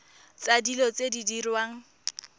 tsa dilo tse di diriwang